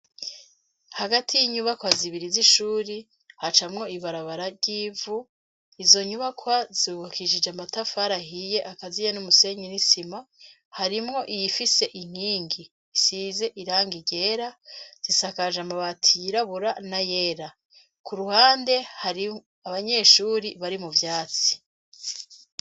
Hagati y'inyubakwa zibiri z'ishuri, hacamwo ibarabara ry'ivu. Izo nyubakwa zubukishijwe n'amatafari ahiye akaziye n'umusenyi n'isima harimwo iyifise inkingi isize irangi ryera zisakaje amabati yirabura n'ayera ku ruhande hari abanyeshuri bari mu vyatsi.